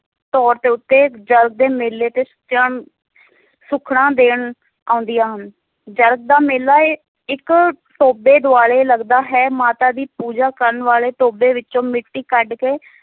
ਤੌਰ ਉੱਤੇ ਜਰਗ ਦੇ ਮੇਲੇ ਤੇ ਸੁਖਣਾ ਦੇਣ ਆਉਦੀਆਂ ਹਨ, ਜਰਗ ਦਾ ਮੇਲਾ ਇਹ ਇੱਕ ਟੋਭੇ ਦੁਆਲੇ ਲਗਦਾ ਹੈ, ਮਾਤਾ ਦੀ ਪੂਜਾ ਕਰਨ ਵਾਲੇ ਟੋਭੇ ਵਿੱਚੋਂ ਮਿੱਟੀ ਕੱਢ ਕੇ,